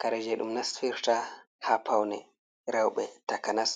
Kare je ɗum nafirta ha paune rewɓe takanas